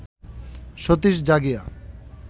Satish Jagia